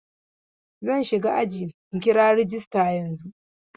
Zan shiga ajin in kira rajista yanzun.